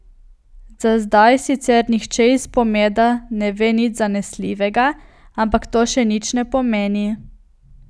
Za zdaj sicer nihče iz Pomeda ne ve nič zanesljivega, ampak to še nič ne pomeni.